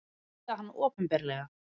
Hýða hann opinberlega!